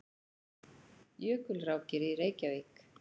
Jökulrákir í Reykjavík.